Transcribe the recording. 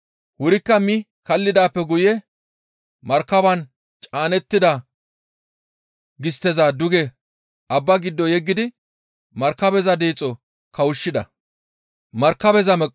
Wurikka mi kaallidaappe guye markabaan caanettida gistteza duge abbaa giddo yeggidi markabeza deexo kawushshida.